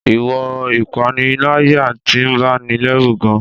Ìwọ̀n ìpànìyàn ti ń bani lẹ́rù gan-an.